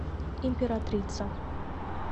императрица